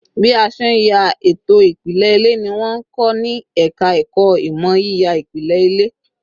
Bí a ṣe ń ya ètò ìpìlẹ̀ ilé ni wọ́n ń kọ ní ẹ̀ka ẹ̀kọ́ ìmọ̀ yíya ìpìlẹ̀ ilé